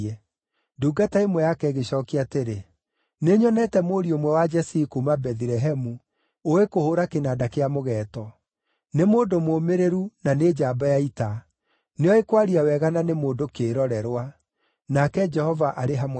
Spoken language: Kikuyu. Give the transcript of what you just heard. Ndungata ĩmwe yake ĩgĩcookia atĩrĩ, “Nĩnyonete mũriũ ũmwe wa Jesii kuuma Bethilehemu ũũĩ kũhũũra kĩnanda kĩa mũgeeto. Nĩ mũndũ mũũmĩrĩru na nĩ njamba ya ita. Nĩoĩ kwaria wega na nĩ mũndũ kĩĩrorerwa. Nake Jehova arĩ hamwe nake.”